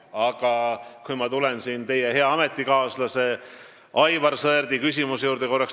Aga ma tulen korraks tagasi teie hea ametikaaslase Aivar Sõerdi küsimuse juurde.